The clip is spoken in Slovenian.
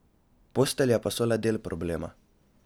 Postelje pa so le del problema.